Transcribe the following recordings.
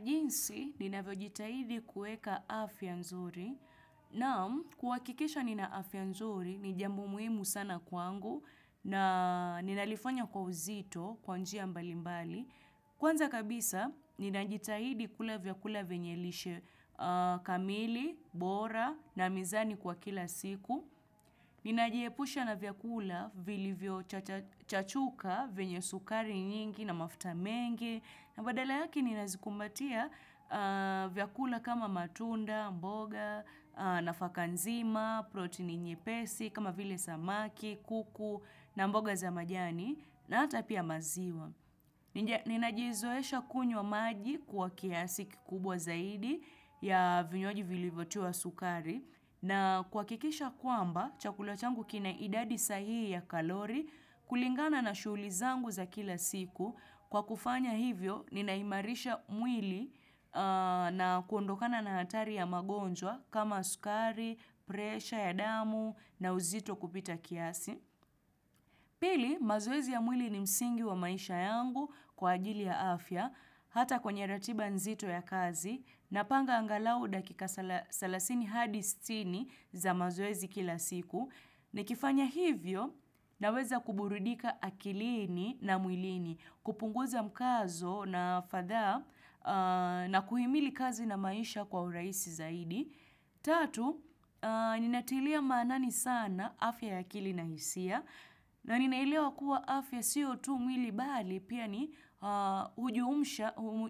Jinsi ninavyo jitahidi kueka afya nzuri naam kuwakikisha nina afya nzuri ni jambo muhimu sana kwangu na ninalifanya kwa uzito kwa njia mbalimbali. Kwanza kabisa ninajitahidi kula vyakula venyelishe kamili, bora na mizani kwa kila siku. Nina jiepusha na vyakula vilivio chachuka vyenye sukari nyingi na mafta mengi na badala yake ninazikumbatia vyakula kama matunda, mboga, nafakanzima, protein inye pesi, kama vile samaki, kuku na mboga za majani na hata pia maziwa. Ninajizoesha kunywa maji kwa kiasi kikubwa zaidi ya vinywaji vilivyotiwa wa sukari na kwakikisha kwamba chakula changu kina idadi sahii ya kalori kulingana na shulizangu za kila siku. Kwa kufanya hivyo, ninaimarisha mwili na kuondokana na hatari ya magonjwa kama sukari, presha ya damu na uzito kupita kiasi. Pili, mazoezi ya mwili ni msingi wa maisha yangu kwa ajili ya afya, hata kwenye ratiba nzito ya kazi, napanga angalau dakika salasini hadi sitini za mazoezi kila siku, nikifanya hivyo naweza kuburidika akilini na mwilini, kupunguza mkazo na fatha na kuhimili kazi na maisha kwa uraisi zaidi. Tatu, ninatilia manani sana afya ya akili na hisia na ninaelewa kua afya sio tu mwili bali pia ni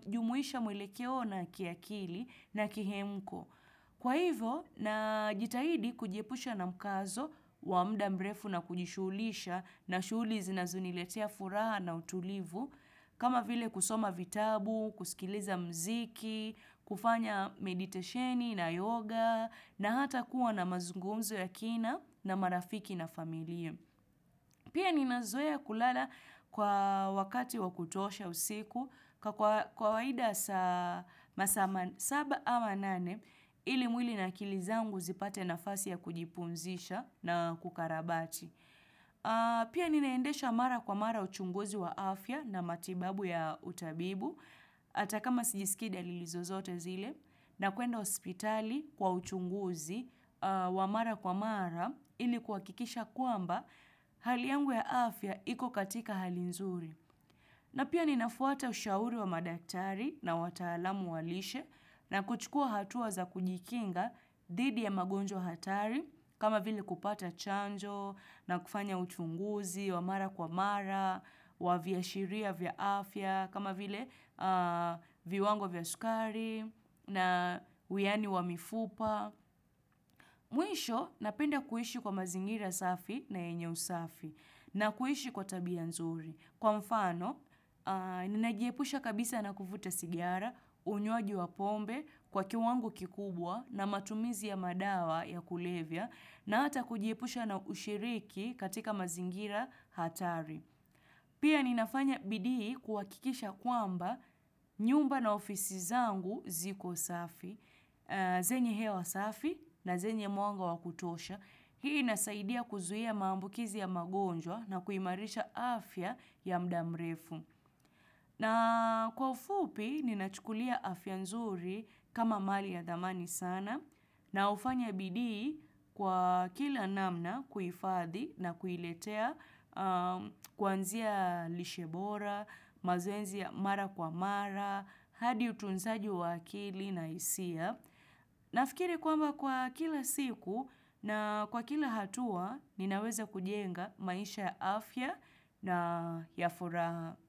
ujumuisha mwelekeo na kiakili na kihemko. Kwa hivo na jitahidi kujiepusha na mkazo wa mda mrefu na kujishulisha na shuli zinazoniletea furaha na utulivu kama vile kusoma vitabu, kusikiliza mziki, kufanya meditesheni na yoga na hata kuwa na mazungumzo ya kina na marafiki na familia. Pia nina zoea kulala kwa wakati wakutosha usiku kwa kawaida masa masaba ama nane ili mwili na akilizangu zipate nafasi ya kujipumzisha na kukarabati. Pia ninaendesha mara kwa mara uchunguzi wa afya na matibabu ya utabibu. Atakama sijisiki dalili zozote zile nakuenda hospitali kwa uchunguzi wa mara kwa mara ili kuwakikisha kwamba hali yangu ya afya iko katika hali nzuri. Na pia ninafuata ushauri wa madaktari na watalamu walishe na kuchukua hatuwa za kujikinga didi ya magonjwa hatari kama vile kupata chanjo na kufanya uchunguzi, wamara kwa mara, wavya shiria vya afya, kama vile viwango vya sukari na uyani wa mifupa. Mwisho napenda kuhishi kwa mazingira safi na enye usafi na kuhishi kwa tabia nzuri. Kwa mfano, ninajiepusha kabisa na kufuta sigiara, unyuaji wa pombe kwa kiwangu kikubwa na matumizi ya madawa ya kulevia na hata kujiepusha na ushiriki katika mazingira hatari. Pia ninafanya bidii kuwakikisha kwamba nyumba na ofisi zangu ziko safi, zenye hewa safi na zenye mwanga wakutosha. Hii inasaidia kuzuhia mambukizi ya magonjwa na kuimarisha afya ya mdamrefu. Na kwa ufupi, ninachukulia afya nzuri kama mali ya damani sana. Na ufanya bidii kwa kila namna kuifathi na kuiletea kwanzia lishebora, mazoezi ya mara kwa mara, hadi utunzaji wa akili na isia. Nafikiri kwamba kwa kila siku na kwa kila hatua ninaweza kujenga maisha ya afya na ya furaha.